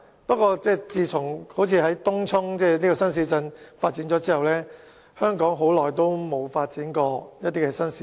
不過，自從發展東涌新市鎮後，香港似乎已很久沒有再發展新市鎮。